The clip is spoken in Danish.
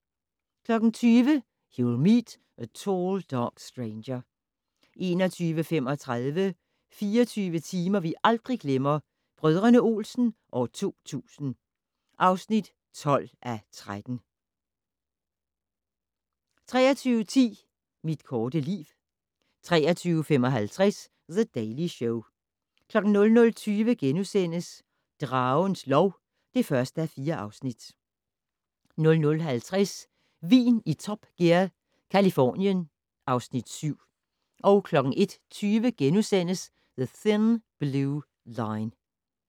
20:00: You Will Meet a Tall Dark Stranger 21:35: 24 timer vi aldrig glemmer - Brdr. Olsen 2000 (12:13) 23:10: Mit korte liv 23:55: The Daily Show 00:20: Dragens lov (1:4)* 00:50: Vin i Top Gear - Californien (Afs. 7) 01:20: The Thin Blue Line *